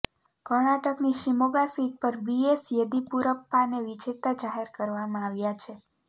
કર્ણાટકની શિમોગા સીટ પર બીએસ યેદિયુરપ્પાને વિજેતા જાહેર કરવામાં આવ્યા છે